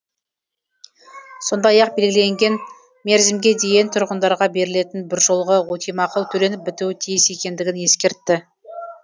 сондай ақ белгіленген мерзімге дейін тұрғындарға берілетін біржолғы өтемақы төленіп бітуі тиіс екендігін ескертті